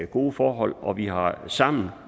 gode forhold og vi har sammen